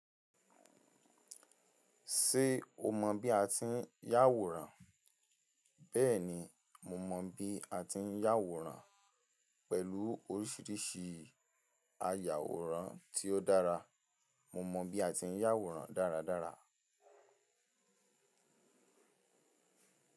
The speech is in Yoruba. Ṣé o mọ bí a ti ń yàwòrán? Bẹ́ẹ̀ni, mo mọ bí a ti ń yàwòrán pẹ̀lú oríṣiríṣi àyàwòrán ti ó dára. Mo mọ bí a ti ń yàwòrán dáradára.